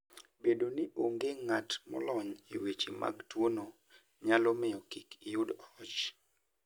Bedo ni onge ng'at molony e weche mag tuwono, nyalo miyo kik iyud hoch.